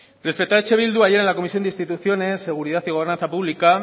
respecto a eh bildu ayer en la comisión de instituciones seguridad y gobernanza pública